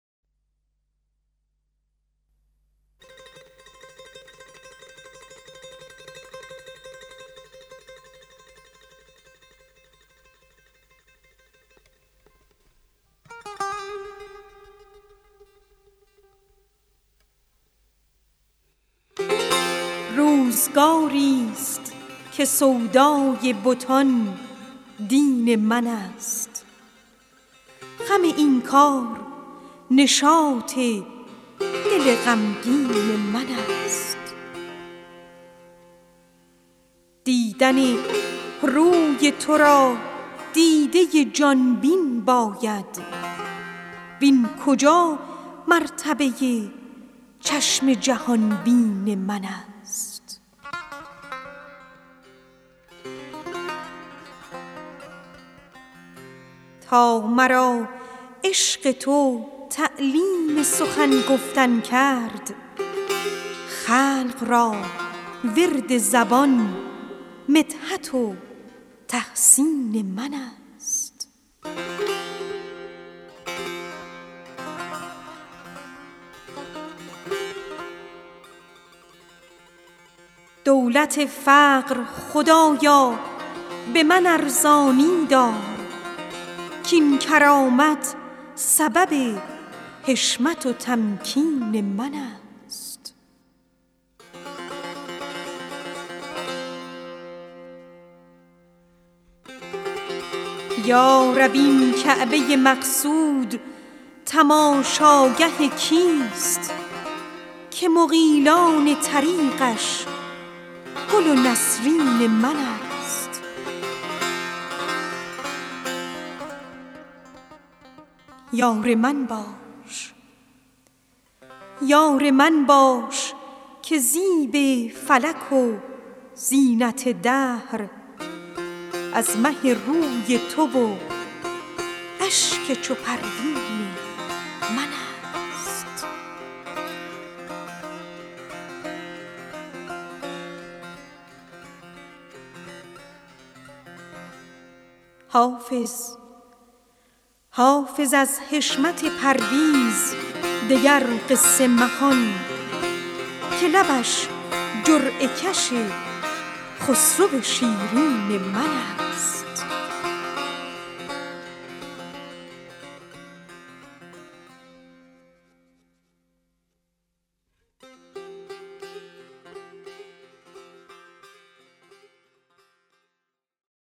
روزگاری ست که سودای بتان دین من است غم این کار نشاط دل غمگین من است دیدن روی تو را دیده ی جان بین باید وین کجا مرتبه ی چشم جهان بین من است یار من باش که زیب فلک و زینت دهر از مه روی تو و اشک چو پروین من است تا مرا عشق تو تعلیم سخن گفتن کرد خلق را ورد زبان مدحت و تحسین من است دولت فقر خدایا به من ارزانی دار کاین کرامت سبب حشمت و تمکین من است واعظ شحنه شناس این عظمت گو مفروش زان که منزلگه سلطان دل مسکین من است یا رب این کعبه ی مقصود تماشاگه کیست که مغیلان طریقش گل و نسرین من است حافظ از حشمت پرویز دگر قصه مخوان که لبش جرعه کش خسرو شیرین من است